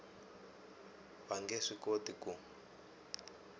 va nge swi koti ku